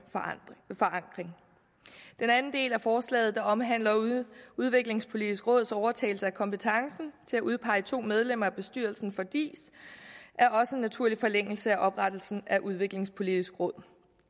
forankring den anden del af forslaget der omhandler udviklingspolitisk råds overtagelse af kompetencen til at udpege to medlemmer af bestyrelsen for diis er også i naturlig forlængelse af oprettelsen af udviklingspolitisk råd